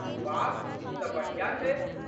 वाह, ई तँ बढ़िया छै।